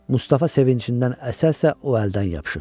Mustafa sevincindən əsə-əsə o əldən yapışır.